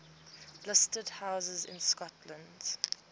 listed houses in scotland